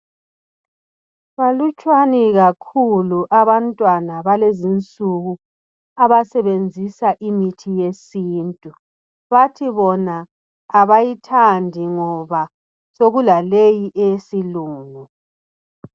Balutshwana kakhulu abantwana balezinsuku abasebenzisa imithi yesintu bathi bona abayithandi ngoba sokulaleyi eyesilungu.